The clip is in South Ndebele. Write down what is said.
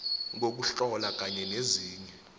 kokuhlola kanye nezinye